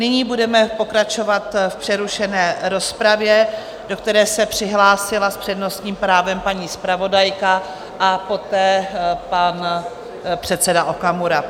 Nyní budeme pokračovat v přerušené rozpravě, do které se přihlásila s přednostním právem paní zpravodajka a poté pan předseda Okamura.